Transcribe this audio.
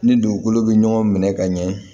Ni dugukolo bɛ ɲɔgɔn minɛ ka ɲɛ